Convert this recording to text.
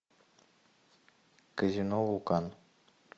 казино вулкан